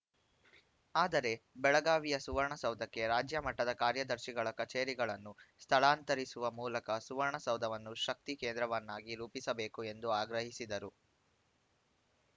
ಆದರೆ ಬೆಳಗಾವಿಯ ಸುವರ್ಣ ಸೌಧಕ್ಕೆ ರಾಜ್ಯಮಟ್ಟದ ಕಾರ್ಯದರ್ಶಿಗಳ ಕಚೇರಿಗಳನ್ನು ಸ್ಥಳಾಂತರಿಸುವ ಮೂಲಕ ಸುವರ್ಣ ಸೌಧವನ್ನು ಶಕ್ತಿ ಕೇಂದ್ರವನ್ನಾಗಿ ರೂಪಿಸಬೇಕು ಎಂದು ಆಗ್ರಹಿಸಿದರು